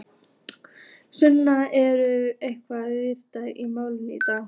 Sunna, urðu einhverjar vendingar í málinu í dag?